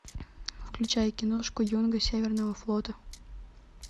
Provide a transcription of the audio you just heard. включай киношку юнга северного флота